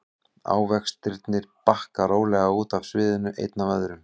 Ávextirnir bakka rólega út af sviðinu einn af öðrum.